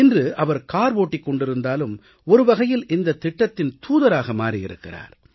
இன்று அவர் கார் ஓட்டினாலும் ஒரு வகையில் இந்தத் திட்டத்தின் தூதராக மாறியிருக்கிறார்